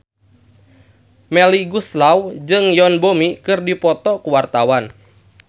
Melly Goeslaw jeung Yoon Bomi keur dipoto ku wartawan